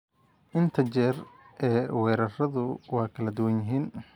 Inta jeer ee weerarradu waa kala duwan yihiin.